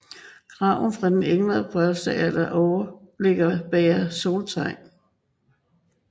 Graven er fra ældre bronzealder og overliggeren bærer soltegn